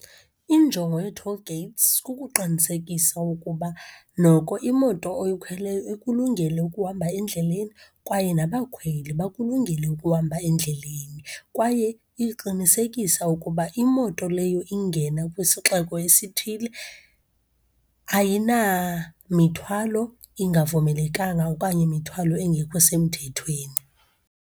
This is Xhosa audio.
Injongo yee-toll gates kukuqinisekisa ukuba noko imoto oyikhweleyo ikulungele ukuhamba endleleni kwaye nabakhweli bakulungele ukuhamba endleleni. Kwaye iqinisekisa ukuba imoto leyo ingena kwisixeko esithile ayinamithwalo ingavumelekanga okanye mithwalo engekho semthethweni.